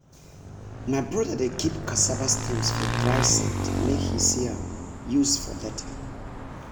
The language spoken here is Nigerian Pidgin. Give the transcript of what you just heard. my brother dey keep cassava stems for dry sand make he see m use for later.